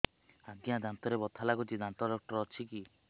ଆଜ୍ଞା ଦାନ୍ତରେ ବଥା ଲାଗୁଚି ଦାନ୍ତ ଡାକ୍ତର ଅଛି କି